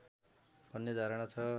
भन्ने धारणा छ